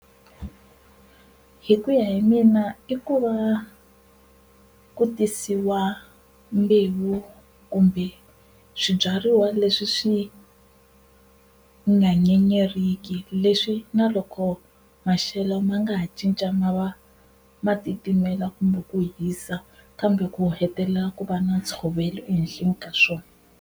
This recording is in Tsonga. Hi ku ya hi mina i ku va ku tisiwa mbewu kumbe swibyariwa leswi swi nga nyenyeriki leswi na loko maxelo ma nga ha cinca ma va ma titimela kumbe ku hisa kambe ku hetelela ku va na ntshovelo ehenhleni ka swona.